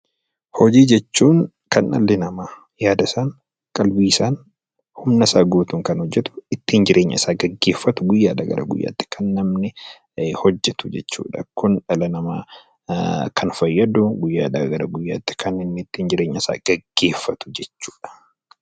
Hojii jechuun kan dhalli namaa yaada isaan, qalbii isaan, humna isaa guutuun kan hojjetu, ittiin jireenya isaa geggeeffatu, guyyaa dhaa gara guyyaa tti kan namni hojjetu jechuu dha. Kun dhala namaa kan fayyadu, guyyaa dhaa gara guyyaa tti kan inni jireenya isaa geggeeffatu jechuu dha.